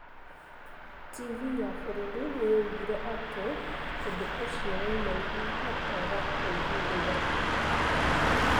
TV ya bũrũri nĩ yoigire atĩ ũndũ ũcio woimanire na kwaga ũiguano.